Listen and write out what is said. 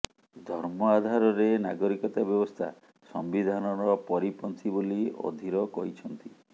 ଧର୍ମ ଆଧାରରେ ନାଗରିକତା ବ୍ୟବସ୍ଥା ସମ୍ବିଧାନର ପରିପନ୍ଥୀ ବୋଲି ଅଧୀର କହିଛନ୍ତି